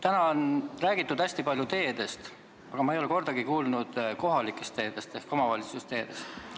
Täna on räägitud hästi palju teedest, aga ma ei ole midagi kuulnud kohalike teede ehk omavalitsuste teede rahastamisest.